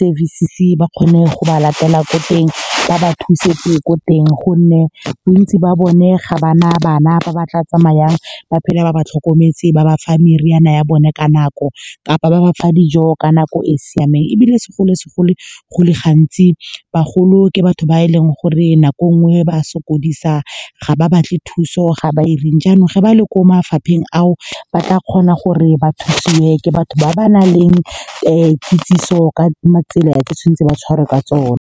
services-e ba kgone go ba latela ko teng ba ba thuse ko teng. Gonne bontsi ba bone ga ba na bana ba ba tla tsamayang ba phela ba ba tlhokometse, ba ba fa meriana ya bone ka nako kapa ba ba fa dijo ka nako e seng siameng. Ebile , go le gantsi bagolo ke batho ba e leng gore nako nngwe ba sokodisa, ga ba batle thuso. Ga ba 'ireng janong, ge ba le ko mafapheng ao, ba tla kgona gore ba thusiwe ke batho ba ba nang kitsiso ka tsela e e tshwanetseng, ba tshwariwe ka tsone.